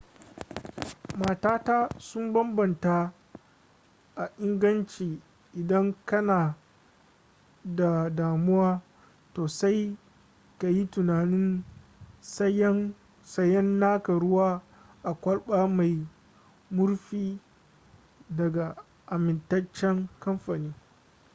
matata sun bambanta a inganci idan kana da damuwa to sai ka yi tunanin sayan naka ruwa a kwalba mai murfi daga amintaccen kamfani